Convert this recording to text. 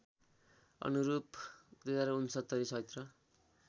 अनुरूप २०६९ चैत्र